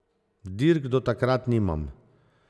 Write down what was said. Dirk do takrat nimam.